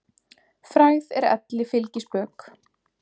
Frægð er elli fylgispök.